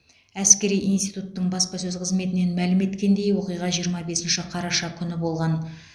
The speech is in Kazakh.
әскери интитуттың баспасөз қызметінен мәлім еткендей оқиға жиырма бесінші қараша күні болған